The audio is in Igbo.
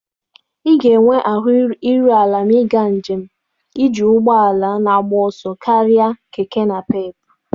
Ị ga-enwe ahụ iru ala karịa iji ụgbọ ala na-agba ọsọ karịa Keke Napep.